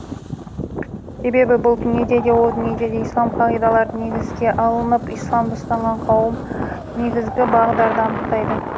себебі бұл дүниеде де о дүниеде де ислам қағидалары негізге алынып исламды ұстанған қауым негізгі бағдарды анықтайды